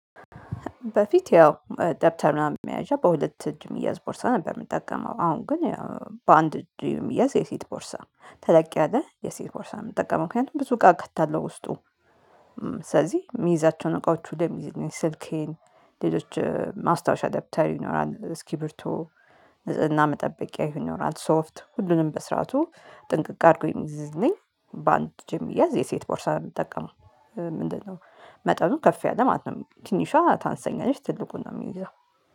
በፊት ያው ደብተር ምናምን መያዣ በሁለት እጅ የሚያዝ ቦርሳ ነበረ ሚጠቀመው አሁን ግን በአንድ እጅ የሴት ቦርሳ ተለቅ ያለ የሴት ቦርሳ የምጠቀመው ምክንያቱም ብዙ እቃ ከታለው ውስጡ። ስለዚህ የሚይዛቸውን እቃዎች ወደ ስልኬን ሌሎች ማስታወሻ ደብተር ይኖራል እስክብርቶ ንጽህና መጠበቂያ ይኖራል ሶፍት ሁሉንም በስርዓቱ ጥንቅቅ አድርጎ የሚይዝልኝ በአንድ እጂ የሚያዝ የሴት ቦርሳ ነው የምጠቀመው። ምንድነው? መጠኑ ከፍ ያለ ማለት ነው ትንሿ ታንሰኛለች ትልቁን ነው የሚይዛው